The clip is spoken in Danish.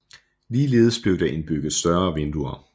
Ligeledes blev der indbygget større vinduer